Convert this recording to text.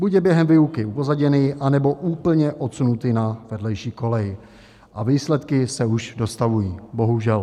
Buď je během výuky upozaděný, anebo úplně odsunutý na vedlejší kolej a výsledky se už dostavují, bohužel.